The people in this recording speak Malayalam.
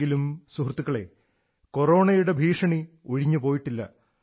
എങ്കിലും സുഹൃത്തുക്കളേ കൊറോണയുടെ ഭീഷണി ഒഴിഞ്ഞു പോയിട്ടില്ല